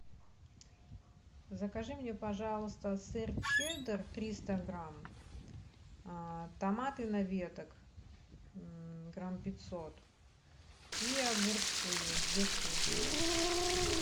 закажи мне пожалуйста сыр чеддер триста грамм томаты на веток грамм пятьсот и огурцы две штуки